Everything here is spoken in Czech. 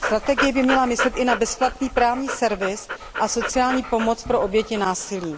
Strategie by měla myslet i na bezplatný právní servis a sociální pomoc pro oběti násilí.